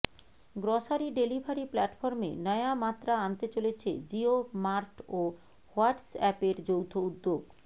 grocery delivery প্ল্যাটফর্মে নয়া মাত্রা আনতে চলেছে জিওমার্ট ও হোয়াইসঅ্যাপের যৌথ উদ্যোগ